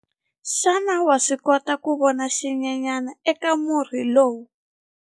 Xana wa swi kota ku vona xinyenyana eka murhi lowuya?